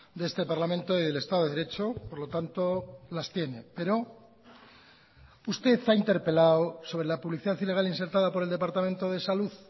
de este parlamento y del estado de derecho por lo tanto las tiene pero usted ha interpelado sobre la publicidad ilegal insertada por el departamento de salud